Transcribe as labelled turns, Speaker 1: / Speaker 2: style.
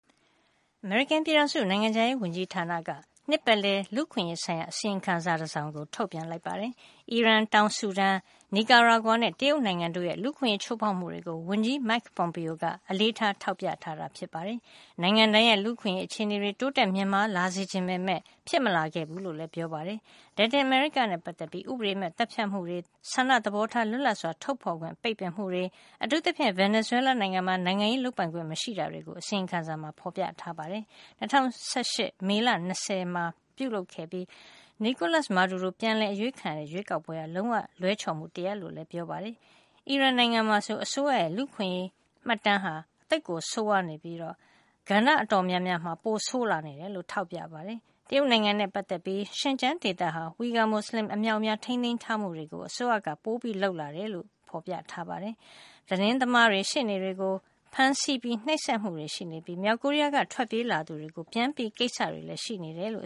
Speaker 1: အမေရိကန်ပြည်ထောင်စု နိုင်ငံခြားရေးဝန်ကြီးဌာနက နှစ်ပတ်လည် လူ့အခွင့်ရေးဆိုင်ရာ အစီရင်ခံစာ တစောင်ကို ထုတ်ပြန်လိုက်ပါတယ်။ အီရန်၊ တောင်ဆူဒန်၊ Nicaragua နဲ့ တရုတ်နိုင်ငံတို့ရဲ့ လူ့အခွင့်ရေးချိုးဖေါက်မှုတွေကို ဝန်ကြီး Mike Pompeo က အလေးထား ထောက်ပြထားတာ ဖြစ်ပါတယ်။ နိုင်ငံတိုင်းရဲ့ လူ့အခွင့်ရေး အခြေနေကို တိုးတက်မြင့်မား လာစေချင်ပေမယ့် ဖြစ်မလာခဲ့ဘူးလို့လည်း ပြောပါတယ်။ လက်တင်အမေရိကနဲ့ ပတ်သက်လို့တော့ ဥပဒေမဲ့ သတ်ဖြတ်မှုတွေ၊ ဆန္ဒသဘောထား လွတ်လပ်စွာ ထုတ်ဖေါ်ခွင့် ပိတ်ပင်တာတွေ၊ အထူးသဖြင့် Venezuela နိုင်ငံမှာ နိုင်ငံရေးလုပ်ပိုင်ခွင့် မရှိတာတွေကို အစီရင်ခံစာမှာ ထောက်ပြထားပါတယ်။ ၂၀၁၈ မေလ ၂၀ ရွေးကောက်ပွဲမှာ Nicolas Maduro ပြန်အရွေးခံရတာဟာ လုံးဝလွဲချော်မှု တရပ်ဖြစ်တယ်လို့လည်း ဆိုပါတယ်။ အီဂျစ်နိုင်ငံမှာတော့ အစိုးရရဲ့ လူ့အခွင့်ရေး မှတ်တမ်းဟာ လွန်စွာဆိုးဝါးပြီး ကဏ္ဍ အတော်များများမှာ ပိုဆိုးလာနေတယ်လို့ ဖေါ်ပြထားပါတယ်။ တရုတ်နိုင်ငံနဲ့ ပတ်သက်လို့တော့ ဇင်ကျန်းဒေသမှာ Uighur မူစလင်တွေ အမြောက်အများကို အထိန်းသိမ်းထားတာတွေ အစိုးရက ပိုလုပ်ဆောင်လာတယ်လို့ အစီရင်ခံစာမှာ ဖေါ်ပြပါတယ်။ ဒါ့အပြင် သတင်းသမားတွေနဲ့ ရှေ့နေတွေကို ဖမ်းဆီး နှိပ်စက်မှုတွေ ရှိနေပြီး မြောက်ကိုရီးယားက ထွက်ပြေးလာသူတွေကို ပြန်ပို့တဲ့ ကိစ္စတွေ ရှိနေတယ်လို့